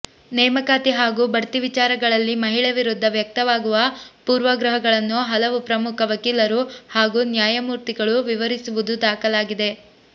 ನೇಮಕಾತಿ ಹಾಗೂ ಬಡ್ತಿ ವಿಚಾರಗಳಲ್ಲಿ ಮಹಿಳೆ ವಿರುದ್ಧ ವ್ಯಕ್ತವಾಗುವ ಪೂರ್ವಗ್ರಹಗಳನ್ನು ಹಲವು ಪ್ರಮುಖ ವಕೀಲರು ಹಾಗೂ ನ್ಯಾಯಮೂರ್ತಿಗಳು ವಿವರಿಸಿರುವುದು ದಾಖಲಾಗಿದೆ